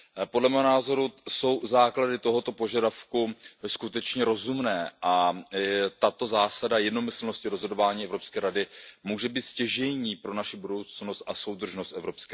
Podle mého názoru jsou základy tohoto požadavku skutečně rozumné a tato zásada jednomyslnosti rozhodování Evropské rady může být stěžejní pro naši budoucnost a soudržnost EU.